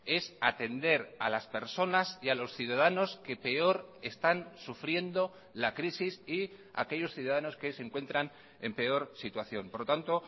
es atender a las personas y a los ciudadanos que peor están sufriendo la crisis y aquellos ciudadanos que se encuentran en peor situación por lo tanto